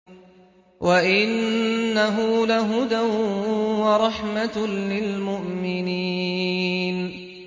وَإِنَّهُ لَهُدًى وَرَحْمَةٌ لِّلْمُؤْمِنِينَ